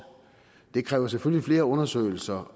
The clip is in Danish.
det kræver selvfølgelig flere undersøgelser